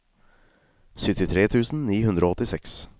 syttitre tusen ni hundre og åttiseks